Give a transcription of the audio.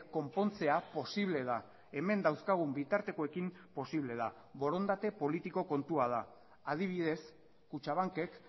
konpontzea posible da hemen dauzkagun bitartekoekin posible da borondate politiko kontua da adibidez kutxabankek